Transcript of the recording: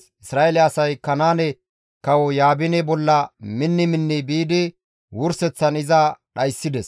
Isra7eele asay Kanaane kawo Yaabine bolla minni minni biidi wurseththan iza dhayssides.